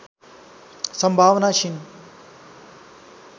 सम्भावना क्षीण